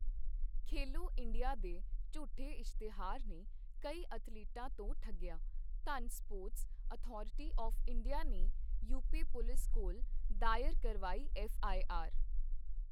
ਖੇਲੋ India ਦੇ ਝੂਠੇ ਇਸ਼ਤਿਹਾਰ ਨੇ ਕਈ ਅਥਲੀਟਾਂ ਤੋਂ ਠੱਗਿਆ I ਧੰਨ ਸਪੋਰਟਸ ਅਥਾਰਿਟੀ ਆਵ੍ ਇੰਡੀਆ ਨੇ ਯੂਪੀ ਪੁਲਿਸ ਕੋਲ ਦਾਇਰ ਕਰਵਾਈ ਐੱਫ਼ਆਈਆਰ